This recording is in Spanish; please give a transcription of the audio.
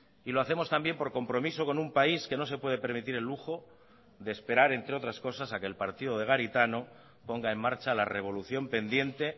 y lo hacemos también por compromiso con un país que no se puede permitir el lujo de esperar entre otras cosas a que el partido de garitano ponga en marcha la revolución pendiente